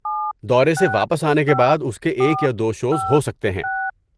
دورے سے واپس آنے کے بعد اس کے ایک یا دو شوز ہو سکتے ہیں۔